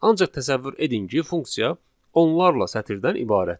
Ancaq təsəvvür edin ki, funksiya onlarla sətirdən ibarətdir.